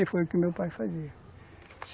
E era o que meu pai fazia.